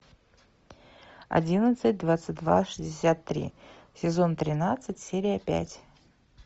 одиннадцать двадцать два шестьдесят три сезон тринадцать серия пять